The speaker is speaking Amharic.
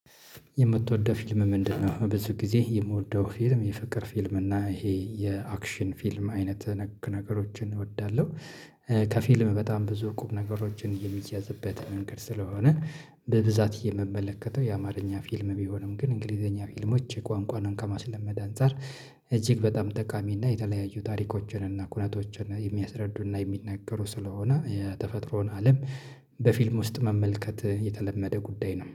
የምትወደው ፊልም ምንድነው? ብዙ ጊዜ የምወደው ፊልም የፍቅር ፊልም እና ይሄ የአክሽን ፊልም አይነት ነገሮችን እወዳለሁ። ከፊልም በጣም ብዙ ቁም ነገሮችን የሚያዝበት መንገድ ስለሆነ። በብዛት የምመለከተው የአማርኛ ፊልም ቢሆንም ግን እንግሊዘኛ ፊልሞች ቋንቋንም ከማስለመድ አንፃር። እጅግ በጣም ጠቃሚ እና የተለያዩ ታሪኮችን እና ኩነቶችን የሚያስረዱ እና የሚናገሩ ስለሆነ የተፈጥሮን አለም። በፊልም ውስጥ መመልከት የተለመደ ጉዳይ ነው